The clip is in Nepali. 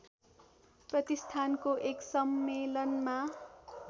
प्रतिष्ठानको एक सम्मेलनमा